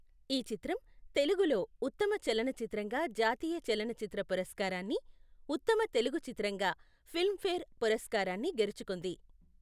ఈ చిత్రం తెలుగులో ఉత్తమ చలనచిత్రంగా జాతీయ చలనచిత్ర పురస్కారాన్ని, ఉత్తమ తెలుగు చిత్రంగా ఫిల్మ్ఫేర్ పురస్కారాన్ని గెలుచుకుంది.